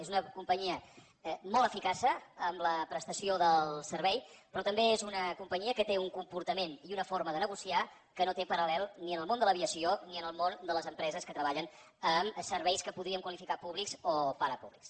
és una companyia molt eficaç en la prestació del servei però també és una companyia que té un comportament i una forma de negociar que no té paral·lel ni en el món de l’aviació ni en el món de les empreses que treballen en serveis que podríem qualificar de públics o parapúblics